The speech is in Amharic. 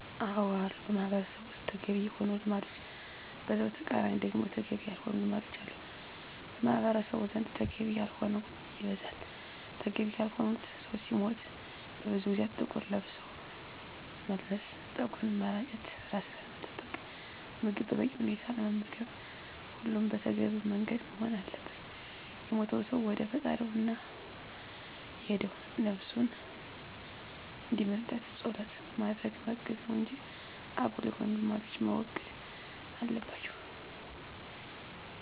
አዎ አሉ በማህበረሰቡ ውስጥ ተገቢ የሆኑ ልማዶች በዛው ተቃራኒ ደግሞ ተገቢ ያልሆኑ ልማዶች አሉ። በማህበረሰቡ ዘንድ ተገቢ ያልሆነው ይበዛል። ተገቢ ያልሆኑት ሰው ሲሞት ለብዙ ጊዜያት ጥቁር ለብስ መልበስ፣ ፀጉርን መላጨት፣ ራስን አለመጠበቅ፣ ምግብ በበቂ ሁኔታ አለመመገብ ሁሉም በተገቢው መንገድ መሆን አለበት። የሞተው ሰው ወደ ፈጣሪው ነው እና የሄደው ነብሱን እንዲምርለት ፀሎት በማድረግ ማገዝ ነው እንጂ አጉል የሆኑ ልማዶች መወገድ አለባቸው